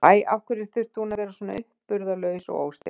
Æ, af hverju þurfti hún að vera svona uppburðarlaus og óstyrk?